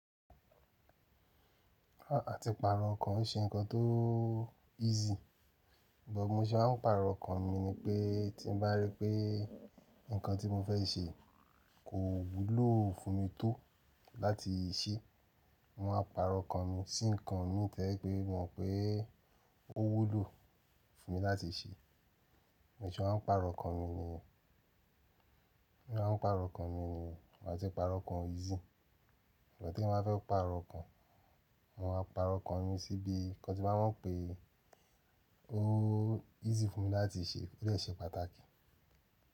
Ah àti pàrọ̀ ọkàn ṣe nǹkan tó easy. Sugbon bi mo ṣe máa ń pàrọ̀ ọkàn mi ni pé tí n bá rí pé nǹkan tí mo fẹ́ ṣe kò wúlò fún mi tó láti ṣe, mo máa pàrọ̀ ọkàn mi sí nǹkan mí to ye pé mo mọ̀ pé ó wúlò fún mi láti ṣe. Bi mo ṣe máa ń pàrọ̀ ọkàn mi niyen, mo máa ń pàrọ̀ ọkàn mi niyen, ati pàrọ̀ ọkàn easy. Sugbon tí eyan bá fẹ́ pàrọ̀ ọkàn, mo máa pàrọ̀ ọkàn mi sí ibi nǹkan tí màá mọ̀ pé ó easy fún mi láti ṣe, ó de ṣe pàtàkì.